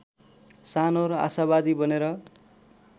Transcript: सानो र आशावादी बनेर